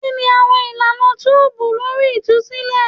Kini awọn ilana tubu lori itusilẹ?